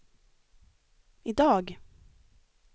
idag